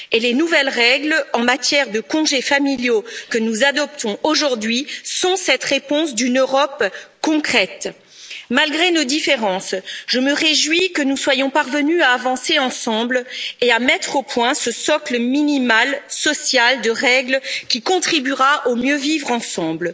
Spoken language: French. Et les nouvelles règles en matière de congés familiaux que nous adoptons aujourd'hui sont cette réponse d'une Europe concrète. Malgré nos différences, je me réjouis que nous soyons parvenus à avancer ensemble et à mettre au point ce socle minimal social de règles, qui contribuera au mieux vivre ensemble.